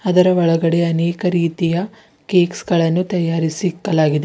ಅದರ ಒಳಗಡೆ ಅನೇಕ ರೀತಿಯ ಕೇಕ್ಸ್ ಗಳನ್ನು ತಯಾರಿಸಿ ಇಕ್ಕಾಲಗಿದೆ.